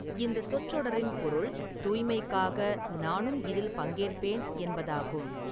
இந்த சொற்றொடரின் பொருள் 'தூய்மைக்காக, நானும் இதில் பங்கேற்பேன்' என்பதாகும்.